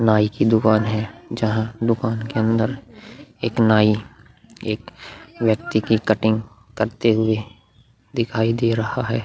नाई की दुकान है। जहां दुकान के अंदर एक नाई एक व्यक्ति की कटिंग करते हुए दिखाई दे रहा है।